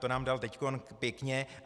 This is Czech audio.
To nám dal teď pěkně.